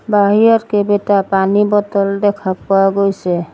বাহিৰত কেইবেটা পানীৰ বটল দেখা পোৱা গৈছে।